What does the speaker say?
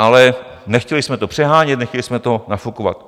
Ale nechtěli jsme to přehánět, nechtěli jsme to nafukovat.